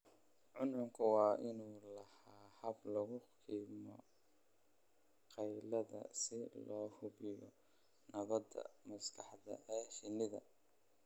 Cuncunku waa inuu lahaadaa habab lagu dhimo qaylada si loo hubiyo nabadda maskaxda ee shinnida.